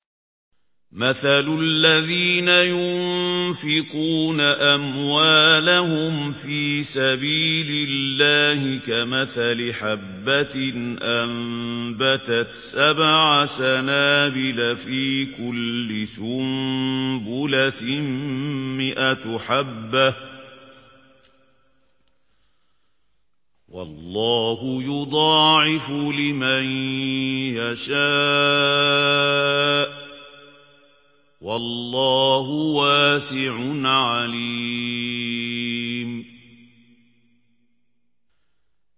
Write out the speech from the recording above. مَّثَلُ الَّذِينَ يُنفِقُونَ أَمْوَالَهُمْ فِي سَبِيلِ اللَّهِ كَمَثَلِ حَبَّةٍ أَنبَتَتْ سَبْعَ سَنَابِلَ فِي كُلِّ سُنبُلَةٍ مِّائَةُ حَبَّةٍ ۗ وَاللَّهُ يُضَاعِفُ لِمَن يَشَاءُ ۗ وَاللَّهُ وَاسِعٌ عَلِيمٌ